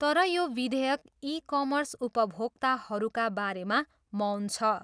तर यो विधेयक ई कमर्स उपभोक्ताहरूका बारेमा मौन छ।